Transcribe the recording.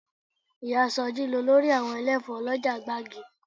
Ìyá sọjí lolórí àwọn ẹlẹ́fọ̀ọ́ lọ́jà gbági